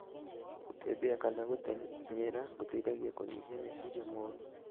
Gũtembea kana gũtenyera gũteithagia kũnyihia meciria moru